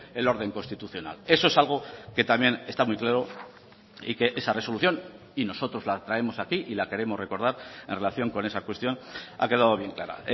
el orden constitucional eso es algo que también está muy claro y que esa resolución y nosotros la traemos aquí y la queremos recordar en relación con esa cuestión ha quedado bien clara